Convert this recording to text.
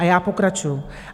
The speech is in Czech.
A já pokračuji.